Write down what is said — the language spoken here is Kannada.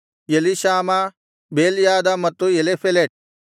ಎಲೀಷಾಮ್ ಬೇಲ್ಯಾದ ಮತ್ತು ಎಲೀಫೆಲೆಟ್